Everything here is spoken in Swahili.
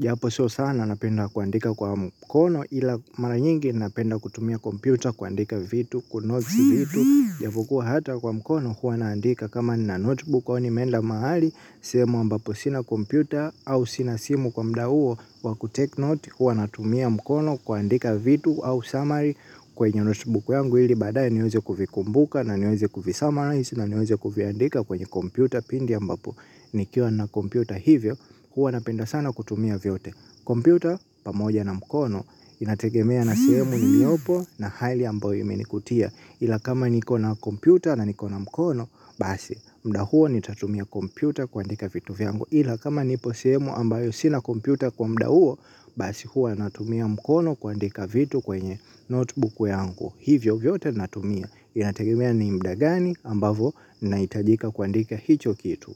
Japo sio sana napenda kuandika kwa mkono ila mara nyingi napenda kutumia kompyuta kuandika vitu kunote vitu, japokuwa hata kwa mkono huwa naandika kama na notebook au nimeenda mahali. Sehemu ambapo sina kompyuta au sina simu kwa mda huo wa kutake note. Huwa natumia mkono kuandika vitu au summary kwenye notebook yangu ili baadaye niweze kuvikumbuka. Na niweze kuvisummarize, na niweze kuviandika kwenye kompyuta pindi ambapo nikiwa na kompyuta hivyo, huwa napenda sana kutumia vyote. Kompyuta, pamoja na mkono, inategemea na sehemu niliopo na hali ambayo imenikutia. Ila kama niko na kompyuta na niko na mkono, basi mda huo nitatumia kompyuta kuandika vitu vyangu. Ila kama nipo sehemu ambayo sina kompyuta kwa mda huo, basi huwa natumia mkono kuandika vitu kwenye notebook yangu. Hivyo vyote natumia inategemea ni mda gani ambavo naitajika kuandika hicho kitu.